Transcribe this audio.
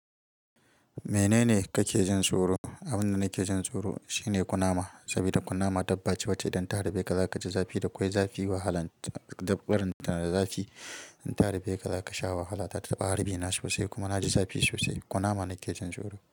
Menene kake jin tsoro? Abin da nake jin tsoro shine kunama, saboda kunama dabbace wacce idan ta harbeka za ka ji zafi. Da kwai zafi, wahala da barin ta zafi. In ta harbe ka, za ka sha wahala. Ta taɓa harbi na sosai kuma na ji zafi sosai. Kunama nake jin tsoro.